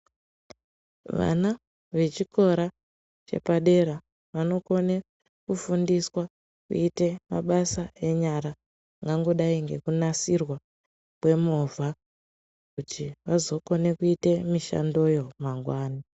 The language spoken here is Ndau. Vana vechikora chepadera vanokona kufundiswa kuita mabasa enyara zvakangodai sekunasirwa kwemovha kuti vazokona kuita mishandoyo mangwani.